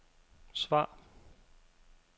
svar